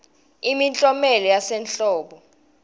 imiklomelo yasehlobo